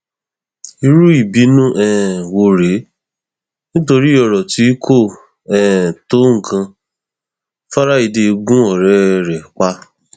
irú ìbùnú um wo rèé nítorí ọrọ tí kò um tó nǹkan fraiday gún ọrẹ ẹ pa